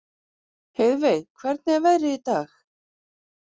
Heiðveig, hvernig er veðrið í dag?